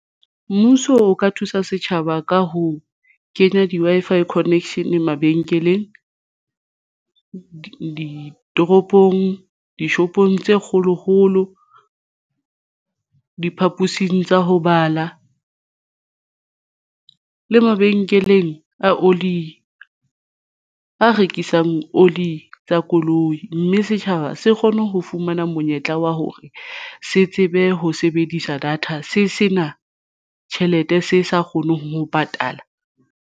Mmuso o ka thusa setjhaba ka ho kenya di-Wi-Fi connection mabenkeleng, ditoropong, dishopong tse kgolokgolo diphapusing tsa ho bala le mabenkeleng a oli a rekisang oli tsa koloi, mme setjhaba se kgone ho fumana monyetla wa hore se tsebe ho sebedisa data se sena tjhelete se sa kgoneng ho patala.